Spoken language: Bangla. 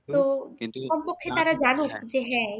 তো সম্পর্কে তারা জানুক যে হ্যাঁ